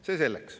See selleks.